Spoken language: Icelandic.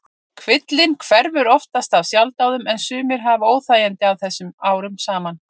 Kvillinn hverfur oftast af sjálfsdáðum en sumir hafa óþægindi af þessu árum saman.